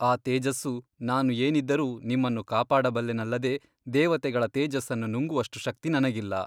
ಆ ತೇಜಸ್ಸು ನಾನು ಏನಿದ್ದರೂ ನಿಮ್ಮನ್ನು ಕಾಪಾಡಬಲ್ಲೆನಲ್ಲದೆ ದೇವತೆಗಳ ತೇಜಸ್ಸನ್ನು ನುಂಗುವಷ್ಟು ಶಕ್ತಿ ನನಗಿಲ್ಲ.